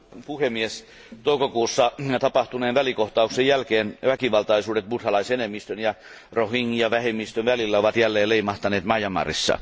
Arvoisa puhemies, toukokuussa tapahtuneen välikohtauksen jälkeen väkivaltaisuudet buddhalaisenemmistön ja rohingya vähemmistön välillä ovat jälleen leimahtaneet Myanmarissa.